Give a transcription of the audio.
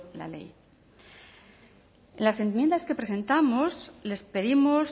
la ley en las enmiendas que presentamos les pedimos